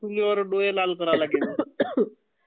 चुलीवर डोळे लाल करायला लागायचे..